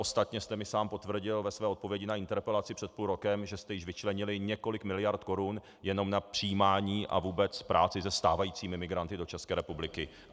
Ostatně jste mi sám potvrdil ve své odpovědi na interpelaci před půl rokem, že jste již vyčlenili několik miliard korun jenom na přijímání a vůbec práci se stávajícími migranty do České republiky.